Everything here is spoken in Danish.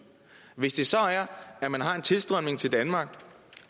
hvis det så er at man har en tilstrømning til danmark